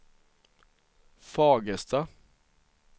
Fagersta